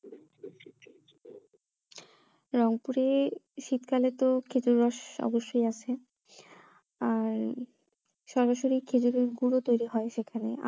রংপুরে শীতকালে তো খেজুর রস অবশ্যই আছে আর সরাসরি খেজুরের গুড়ও তৈরী হয় সেখানে